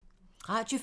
Radio 4